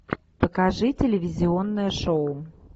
покажи телевизионное шоу